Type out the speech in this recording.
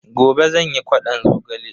Gobe zan yi ƙwadon zogale.